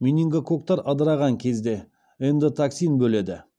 менингококктар ыдыраған кезде эндотоксин бөледі